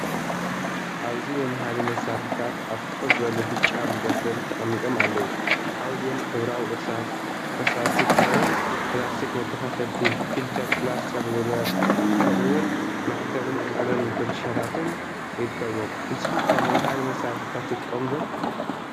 ኣብዚ መምሃሪ መሳርሒታት ኣብ ፍኹስ ዝበለ ብጫ መደርደሪ ተቐሚጦም ኣለዉ። ካብዚኦም ሕብራዊ እርሳስ፡ ፈሳሲ ክራዮን፡ ፕላስቲክ መከፋፈልቲ፡ ፍልተር፡ ፕላስቲክ ሩለር፡ ከምኡ’ውን ማሕተምን ቀለም ብራሻታትን ይርከብዎም። ንስኩም ከ መምሃሪ መስርሕታት ትጥቀሙ ድ?